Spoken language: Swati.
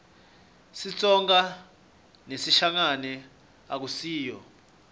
sitsonga nesishangane akusiyo